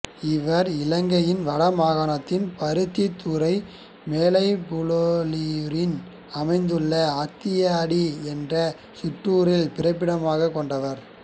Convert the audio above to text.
இவர் இலங்கையின் வட மாகாணத்தில் பருத்தித்துறை மேலைப்புலோலியூரில் அமைந்துள்ள ஆத்தியடி என்ற சிற்றூரைப் பிறப்பிடமாகக் கொண்டவர்